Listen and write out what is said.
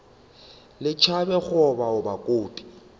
le tšhabe go obaoba kobi